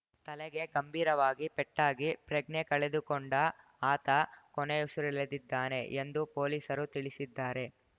ತಲೆಗೆ ಗಂಭೀರವಾಗಿ ಪೆಟ್ಟಾಗಿ ಪ್ರಜ್ಞೆ ಕಳೆದುಕೊಂಡ ಆತ ಕೊನೆಯುಸಿರೆಳೆದಿದ್ದಾನೆ ಎಂದು ಪೊಲೀಸರು ತಿಳಿಸಿದ್ದಾರೆ